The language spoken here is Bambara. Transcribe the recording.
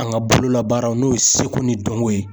An ka bololabaaraw n'o ye seko ni dɔnko ye.